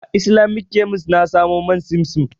A Islamic kemis na samu man simsim.